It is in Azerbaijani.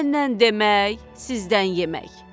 Məndən demək, sizdən yemək.